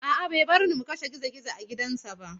A'a, bai bar mu mu kashe gizo-gizo a gidansa ba.